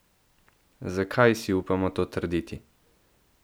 Zakaj si upamo to trditi?